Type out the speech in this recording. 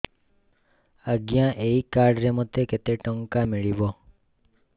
ଆଜ୍ଞା ଏଇ କାର୍ଡ ରେ ମୋତେ କେତେ ଟଙ୍କା ମିଳିବ